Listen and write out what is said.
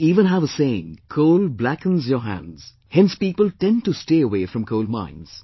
We even have a saying, "Coal blackens your hands", hence people tend to stay away from coal mines